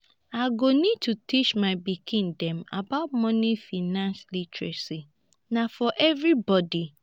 i go need to teach my pikin dem about moni financial literacy na for everybody